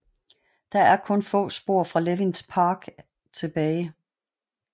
Der er kun få spor fra Levins park er tilbage